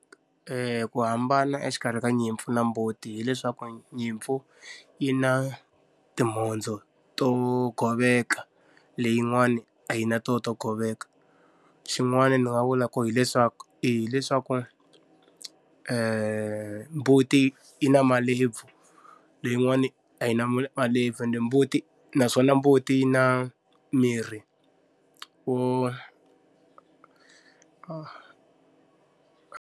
ku hambana exikarhi ka nyimpfu na mbuti hileswaku nyimpfu yi na timhondzo to goveka, leyin'wani a yi na tona to goveka. Xin'wana ni nga vula ku hileswaku hileswaku mbuti i na malebvu, leyin'wani a yi na malebvu ende mbuti naswona mbuti yi na miri wo.